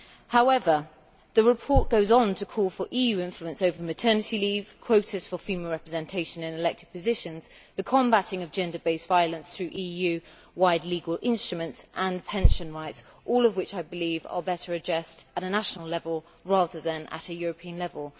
However, the report goes on to call for EU influence over maternity leave, quotas for female representation in elected positions, the combating of gender based violence through EU wide legal instruments and pension rights, all of which I believe are better addressed at a national level rather than at a European level.